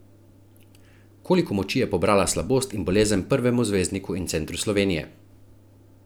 Koliko moči je pobrala slabost in bolezen prvemu zvezdniku in centru Slovenije?